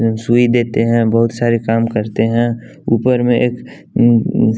सुई देते हैं बहुत सारे काम करते हैं ऊपर में एक --